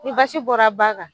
Ni basi bɔra ba kan